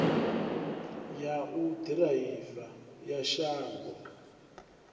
ya u ḓiraiva ya shango